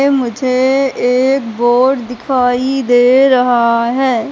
मुझे एक बोर्ड दिखाई दे रहा है।